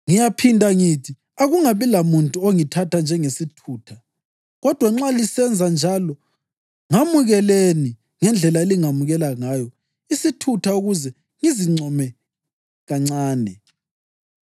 Ngiyaphinda ngithi: Akungabi lamuntu ongithatha njengesithutha. Kodwa nxa lisenza njalo, ngamukelani ngendlela elingamukela ngayo isithutha ukuze ngizincome kancane.